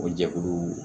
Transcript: O jɛkulu